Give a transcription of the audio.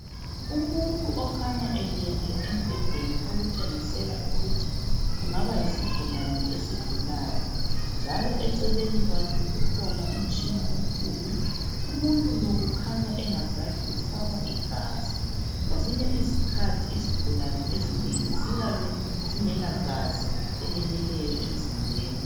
umuntu okhanya elele embhedeni okutshengisela ukuthi kungaba yisigulane esigulayo njalo eceleni kwakhe kukhona umtshina omkhulu umuntu lo kukhanya engazathi ufakwa igazi kwezinye izikhathi izigulane ezinengi ziyabe zingela gazi eleneleyo emzimbeni